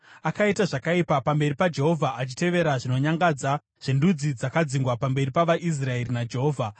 Akaita zvakaipa pamberi paJehovha, achitevera zvinonyangadza zvendudzi dzakadzingwa pamberi pavaIsraeri naJehovha.